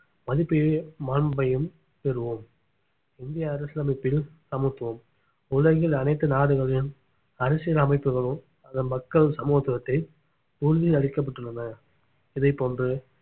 மதிப்பையும் மாண்பையும் பெறுவோம் இந்திய அரசியலமைப்பில் சமத்துவம் உலகில் அனைத்து நாடுகளிலும் அரசியல் அமைப்புகளும் அதன் மக்கள் சமத்துவத்தை உறுதி அளிக்கப்பட்டுள்ளன இதைப் போன்று